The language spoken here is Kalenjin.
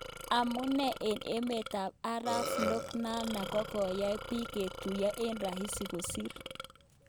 Amun en meet ap arap floyd nano kokoyagn pik kotuyaan en rahisi kosir.